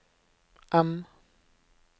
M